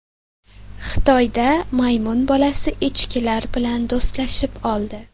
Xitoyda maymun bolasi echkilar bilan do‘stlashib oldi .